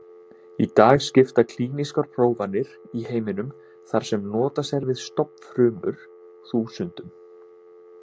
Í dag skipta klínískar prófanir í heiminum, þar sem notast er við stofnfrumur, þúsundum.